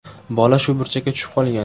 Bola shu burchakka tushib qolgan.